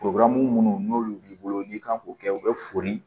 minnu n'olu b'i bolo n'i kan k'o kɛ u bɛ foli